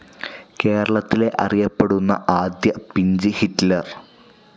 കേരളത്തിലെ അറിയപ്പെടുന്ന ആദ്യ പിഞ്ച്‌ ഹിറ്റ്ലർ.